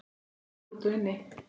Leikið var úti og inni.